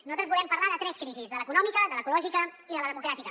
nosaltres volem parlar de tres crisis de l’econòmica de l’ecològica i de la democràtica